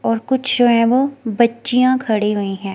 और कुछ है वो बच्चिया खड़ी हुई है।